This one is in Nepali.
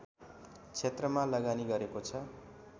क्षेत्रमा लगानी गरेको छ